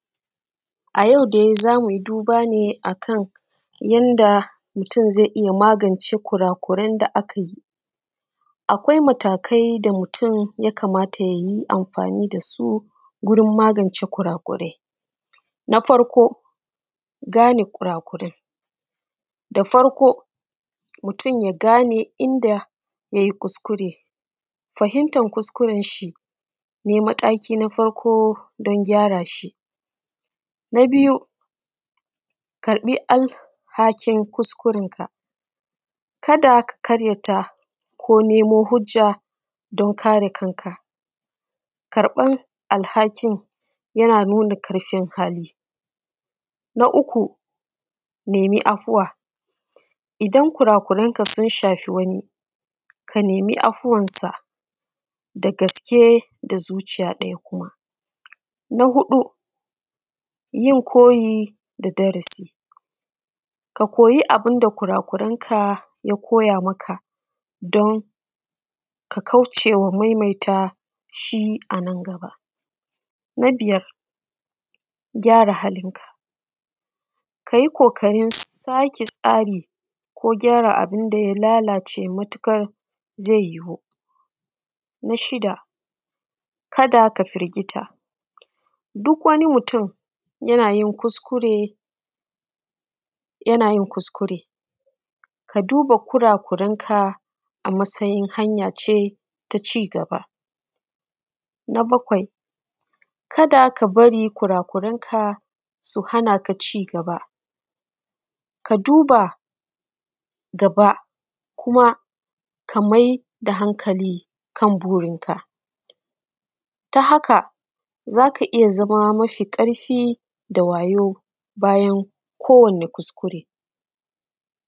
A yau dai, zamuyi duba ne akan yanda mutum zai iya magance kurakuren da aka yi. Akwai matakai da mutum ya kamata yayi amfani dasu gurin magance kurakurai. Na farko, gane kurakurai, mutum ya gane inda yayi kuskure, fahimtar kuskuren shi ne mataki na farko don gyara shi. Na biyu, karɓi alhakin kuskuren ka kada ka ƙaryata ko nemo hujja don kare kanka, karɓan alhakin yana nuna ƙarfin hali. Na uku, nemi afuwa, idan kurakuren ka sun shafi wani, ka nemi afuwan sa dagaske da zuciya ɗaya kuma. Na huɗu, yin koyi da darasi, ka koyi abun da kurakuren ka ya koya maka don ka kaucewa maimaita shi a nan gaba. Na biyar, gyara halin ka kayi ƙoƙarin sake tsari ko gyara abunda ya lalace matuƙar zai yiwu. Na shida, kada ka firgita duk wani mutum yana yin kuskure ka duba kurakuren ka a matsayin hanya ce ta cigaba. Na bakwai, kada ka bari kurakuren ka su hanaka cigaba, ka duba gaba kuma ka maida hankali kan burin ka, ta haka zaka iya zama mafi ƙarfi da wayau.